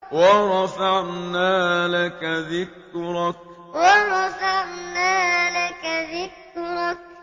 وَرَفَعْنَا لَكَ ذِكْرَكَ وَرَفَعْنَا لَكَ ذِكْرَكَ